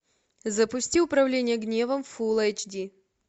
запусти управление гневом фулл эйч ди